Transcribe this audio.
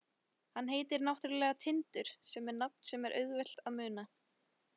Hann heitir náttúrulega Tindur sem er nafn sem er auðvelt að muna.